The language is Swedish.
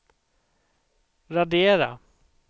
radera